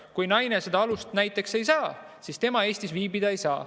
Kui naisele seda alust näiteks ei anta, siis ta Eestis viibida ei saa.